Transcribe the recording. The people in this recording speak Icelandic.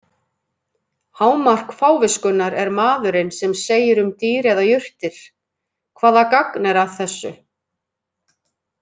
Hámark fáviskunnar er maðurinn sem segir um dýr eða jurtir: Hvaða gagn er að þessu?